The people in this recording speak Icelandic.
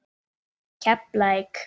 Keflavík